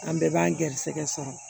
An bɛɛ b'an garisɛgɛ sɔrɔ